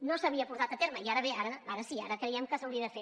no s’havia portat a terme i ara bé ara sí ara creiem que s’hauria de fer